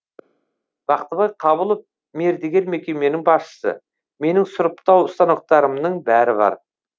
бақтыбай қабылов мердігер мекеменің басшысы менің сұрыптау станоктарымның бәрі бар